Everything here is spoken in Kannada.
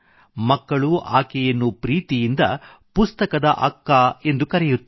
ಮಕ್ಕಳು ಆಕೆಯನ್ನು ಪ್ರೀತಿಯಿಂದ ಪುಸ್ತಕದ ಅಕ್ಕಾ ಎಂದು ಕರೆಯುತ್ತಾರೆ